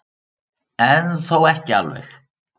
En þó ekki alveg.